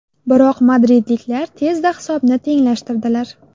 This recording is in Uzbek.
Biroq madridliklar tezda hisobni tenglashtirdilar.